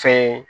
Fe